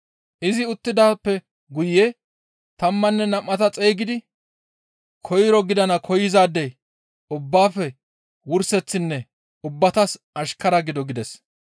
Izi uttidaappe guye tammanne nam7ata xeygidi, «Koyro gidana koyzaadey ubbaafe wurseththinne ubbatas ashkara gido» gides.